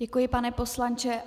Děkuji, pane poslanče.